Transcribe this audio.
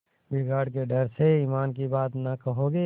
बिगाड़ के डर से ईमान की बात न कहोगे